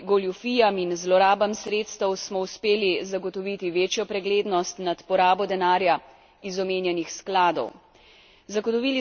V boju proti goljufijam in zlorabam sredstev smo uspeli zagotoviti večjo preglednost nad porabo denarja iz omenjenih skladov.